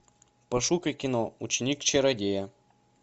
пошукай кино ученик чародея